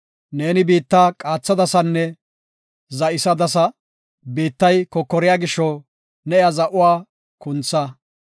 Ne biitta qaathadasanne za7isadasa; biittay kokoriya gisho, ne iya za7uwa kuntha.